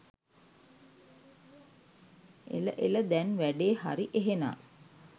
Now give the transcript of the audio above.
එල එල දැන් වැඩේ හරි එහෙනම්